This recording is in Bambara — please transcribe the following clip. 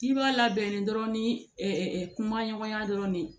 K'i b'a labɛn dɔrɔn ni kumaɲɔgɔnya dɔrɔn de ye